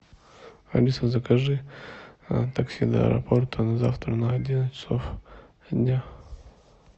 алиса закажи такси до аэропорта на завтра на одиннадцать часов дня